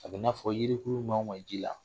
A bɛnaa fɔ yirikuru mɛ o mɛ ji la